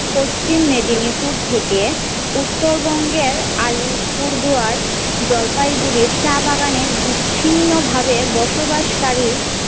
পশ্চিম মেদিনীপুর থেকে উত্তরবঙ্গের আলিপুর দুয়ার জলপাই গুড়ির চা বাগানে বিচ্ছিন্ন ভাবে বসবাসকারী।